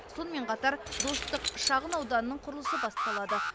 сонымен қатар достық шағын ауданының құрылысы басталады